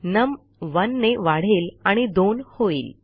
नम 1 ने वाढेल आणि 2 होईल